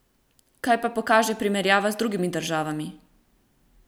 Kaj pa pokaže primerjava z drugimi državami?